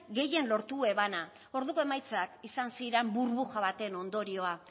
gehien lortu ebana orduko emaitzak izan ziren burbuja baten ondorioa